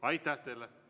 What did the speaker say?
Aitäh teile!